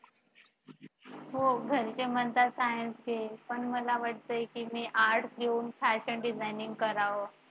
हो घरचे म्हणतात science घे पण पण मला वाटते की मी arts घेऊन fashion designing कराव.